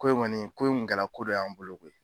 Ko in kɔni ko in kun kɛla ko dɔ y'an bolo koyi